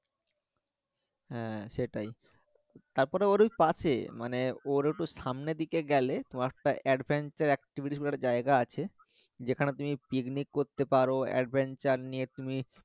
হ্যাঁ, সেটাই তারপরও ওর ঐকাছে পাশে মানে ওর একটু সামনের দিকে গেলে এর জায়গা আছে যেখানে তুমি পিকনিক করতে পারো নিয়ে তুমি